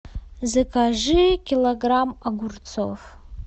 закажи килограмм огурцов